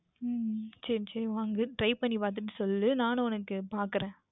சரி சரி வாங்கு Try பண்ணி பார்த்துவிட்டு சொல் நானும் உனக்கு பார்க்கின்றேன்